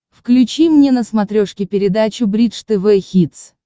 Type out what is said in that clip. включи мне на смотрешке передачу бридж тв хитс